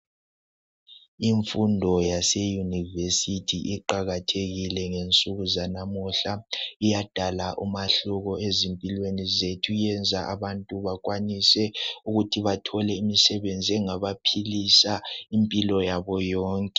imfundo yase univesithi iqakathekile ngensuku zanamuhla iyadala umehluko ezimpilweni zethu iyenza abantu bakwanise ukuthi bathole imisebenzi engabaphilisa impila yabo yonke